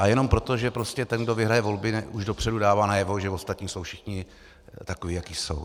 A jenom proto, že prostě ten, kdo vyhraje volby, už dopředu dává najevo, že ostatní jsou všichni takoví, jací jsou.